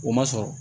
O ma sɔrɔ